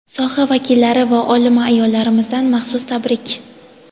Soha vakillari va olima ayollarimizdan maxsus tabrik.